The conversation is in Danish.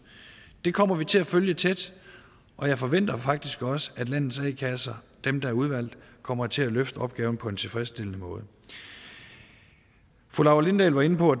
det kommer vi til at følge tæt og jeg forventer faktisk også at landets a kasser dem der er udvalgt kommer til at løfte opgaven på en tilfredsstillende måde fru laura lindahl var inde på